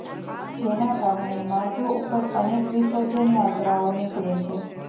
જેના કારણે માર્ગો ઉપર અનેક વિસર્જન યાત્રાઓ નિકળે છે